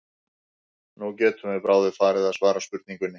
Nú getum við bráðum farið að svara spurningunni.